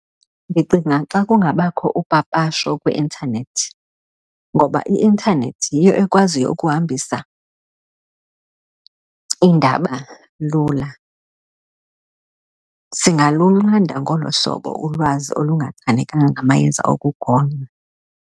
Ndicinga xa kungabakho upapasho kwi-internet, ngoba i-nternet yiyo ekwaziyo ukuhambisa iindaba lula. Singalunqanda ngolo hlobo ulwazi olungachanekanga ngamayeza okugonya.